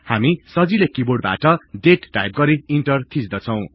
हामी सजिलै किबोर्डबाट दाते टाइप गरि इन्टर थिच्दछौ